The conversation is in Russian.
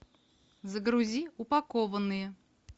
загрузи упакованные